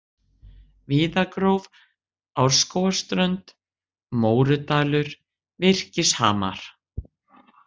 Víðagróf, Árskógsströnd, Mórudalur, Virkishamar